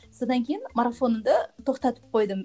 содан кейін марафонымды тоқтатып қойдым